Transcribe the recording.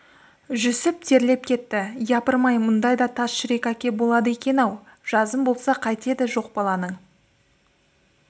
жүсіп терлеп кетті япырмай мұндай да тас жүрек әке болады екен-ау жазым болса қайтеді жоқ баланың